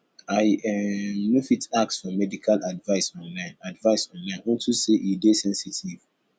i um no fit ask for medical advice online advice online unto say e dey sensitive